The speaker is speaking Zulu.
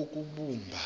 ukubumba